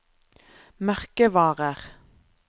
merkevarer